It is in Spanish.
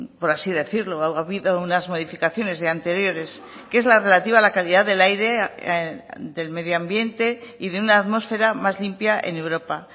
por así decirlo ha habido unas modificaciones de anteriores que es la relativa a la calidad del aire del medio ambiente y de una atmósfera más limpia en europa